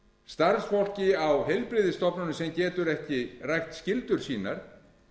starfsfólki á heilbrigðisstofnunum sem getur ekki rækt skyldur sínar